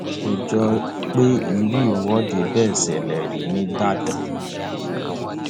kò jọ pé irú ìwọde bẹẹ ṣẹlẹ rí nígbàdàn